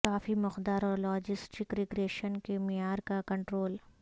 کافی مقدار اور logistic regression کے معیار کا کنٹرول